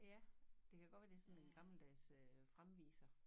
Ja det kan godt være det sådan en gammeldags øh fremviser